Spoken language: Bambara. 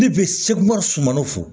Ne bɛ sekɔri sumaniw fɔ